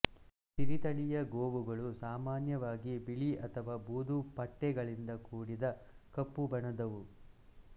ಸಿರಿ ತಳಿಯ ಗೋವುಗಳು ಸಾಮಾನ್ಯವಾಗಿ ಬಿಳಿ ಅಥವಾ ಬೂದು ಪಟ್ಟೆಗಳಿಂದ ಕೂಡಿದ ಕಪ್ಪು ಬಣ್ಣದವು